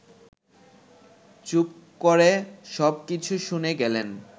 চুপ করে সব কিছু শুনে গেলেন